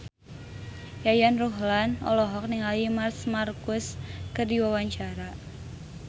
Yayan Ruhlan olohok ningali Marc Marquez keur diwawancara